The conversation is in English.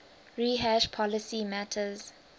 rehash policy matters